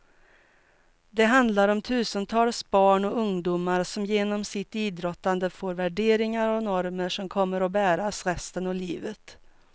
Det handlar om tusentals barn och ungdomar som genom sitt idrottande får värderingar och normer som kommer att bäras resten av livet.